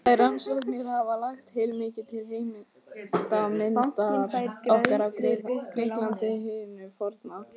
Þær rannsóknir hafa lagt heilmikið til heildarmyndar okkar af Grikklandi hinu forna.